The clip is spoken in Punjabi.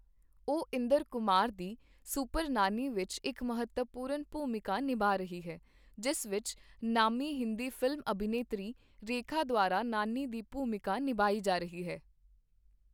ਉਹ ਇੰਦਰ ਕੁਮਾਰ ਦੀ ਸੁਪਰ ਨਾਨੀ ਵਿੱਚ ਇੱਕ ਮਹੱਤਵਪੂਰਨ ਭੂਮਿਕਾ ਨਿਭਾ ਰਹੀ ਹੈ, ਜਿਸ ਵਿੱਚ ਨਾਮੀ ਹਿੰਦੀ ਫਿਲਮ ਅਭਿਨੇਤਰੀ ਰੇਖਾ ਦੁਆਰਾ ਨਾਨੀ ਦੀ ਭੂਮਿਕਾ ਨਿਭਾਈ ਜਾ ਰਹੀ ਹੈ।